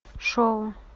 шоу